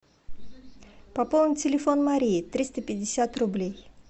пополнить телефон марии триста пятьдесят рублей